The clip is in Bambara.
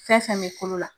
Fɛn fɛn bɛ kolo la